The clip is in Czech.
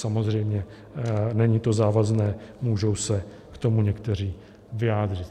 Samozřejmě to není závazné, můžou se k tomu někteří vyjádřit.